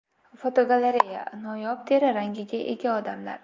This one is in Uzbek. Fotogalereya: Noyob teri rangiga ega odamlar.